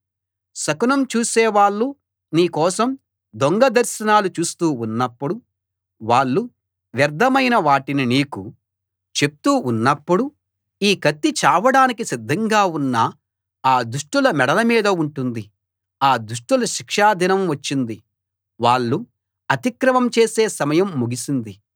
శకునం చూసేవాళ్ళు నీ కోసం దొంగ దర్శనాలు చూస్తూ ఉన్నప్పుడు వాళ్ళు వ్యర్థమైన వాటిని నీకు చెప్తూ ఉన్నప్పుడు ఈ కత్తి చావడానికి సిద్ధంగా ఉన్న ఆ దుష్టుల మెడల మీద ఉంటుంది ఆ దుష్టుల శిక్షా దినం వచ్చింది వాళ్ళు అతిక్రమం చేసే సమయం ముగిసింది